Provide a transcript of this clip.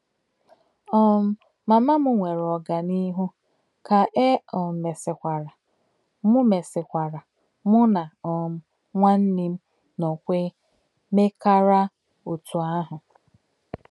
um Mamà m nwèrè ọ̀gánìhù, kà è um mésìkwàrà, mụ̀ mésìkwàrà, mụ̀ nà um nwánè m nókwè mèkàrà òtú àhụ̀.